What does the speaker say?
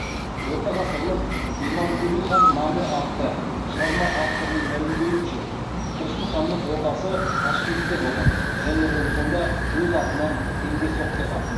ортағасырлық имамкули хан наме атты шығарма авторының мәлімдеуінше тұрсын ханның ордасы ташкентте болған және ол сонда өз атынан теңге соқтырған